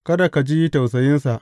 Kada ka ji tausayinsa.